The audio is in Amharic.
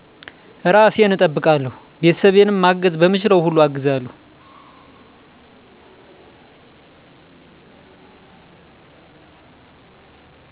እራሴን እጠብቃለሁ ቤተሰቤንም ማገዝ በምችለው ሁሉ አግዛለሁ